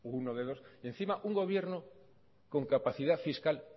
uno de dos encima un gobierno con capacidad fiscal